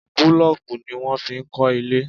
Búlọ̀kì ni wọ́n fi kọ́ ilé.